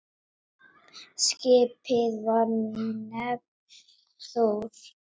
Skipið var nefnt Þór.